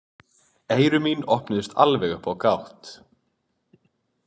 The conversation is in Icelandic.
Eyru mín opnuðust alveg upp á gátt.